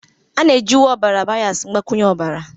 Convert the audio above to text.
A na-eji uwe ọbara byas mgbakwunye ọbara